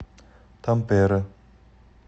тампере